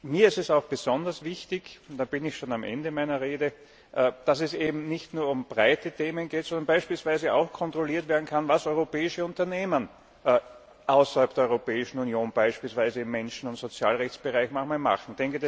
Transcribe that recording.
Mir ist es auch besonders wichtig und da bin ich schon am Ende meiner Rede dass es eben nicht nur um breite Themen geht, sondern beispielsweise auch kontrolliert werden kann, was europäische Unternehmen außerhalb der Europäischen Union beispielsweise im Menschen und Sozialrechtsbereich manchmal machen.